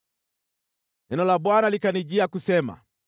Neno la Bwana likanijia kusema: